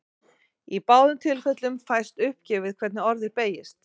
Í báðum tilfellum fæst uppgefið hvernig orðið beygist.